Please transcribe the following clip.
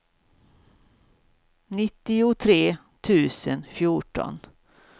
nittiotre tusen fjorton